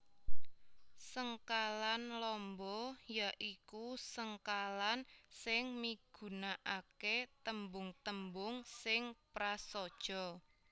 Sengkalan lamba ya iku sengkalan sing migunakaké tembung tembung sing prasaja